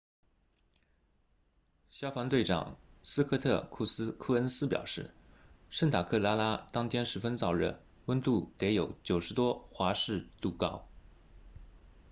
消防队长斯科特库恩斯表示圣塔克拉拉当天十分燥热温度得有90多华氏度高